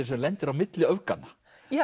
sem lendir á milli öfganna